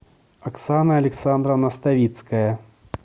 оксана александровна ставицкая